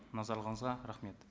назарларыңызға рахмет